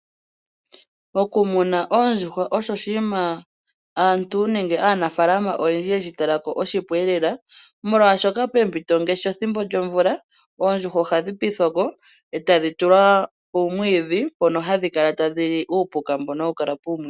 Moku muna oondjuhwa osho oshiima aantu nenge aanafalama oyendji yeshi takako onga oshipu elela. Molwashoka pempito ngaashi pethimbo lyomvula oondjuhwa ohadhi piithwako etadhi tulwa poomwiidhi mpono hadhi kala tadhili uupuka mbono hawu kala puumwiidhi.